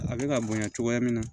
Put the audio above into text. A bɛ ka bonya cogoya min na